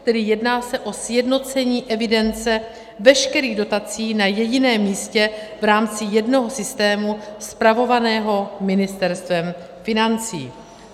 Tedy jedná se o sjednocení evidence veškerých dotací na jediném místě v rámci jednoho systému spravovaného Ministerstvem financí.